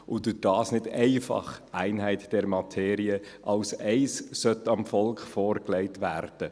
Deshalb sollte dies dem Volk nicht einfach als Eines – Einheit der Materie – vorgelegt werden.